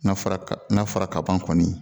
N'a fɔra n'a fɔra kaban kɔni